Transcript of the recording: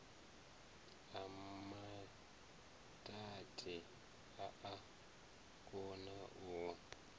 a maiti a a konau